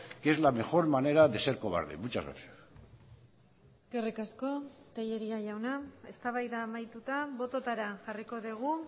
que es la mejor manera de ser cobarde muchas gracias eskerrik asko tellería jauna eztabaida amaituta bototara jarriko dugu